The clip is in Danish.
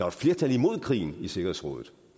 et flertal imod krigen i sikkerhedsrådet